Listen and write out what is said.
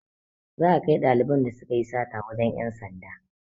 Za a kai ɗaliban da sukayi sata wajen ƴan sanda